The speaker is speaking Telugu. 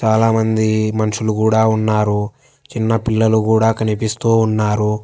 చాలామంది మనుషులు కూడా ఉన్నారు చిన్న పిల్లలు కూడా కనిపిస్తూ ఉన్నారు.